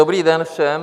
Dobrý den všem.